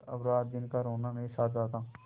पर अब रातदिन का रोना नहीं सहा जाता